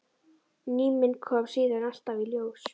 Ný mynd kom síðan alltaf í ljós.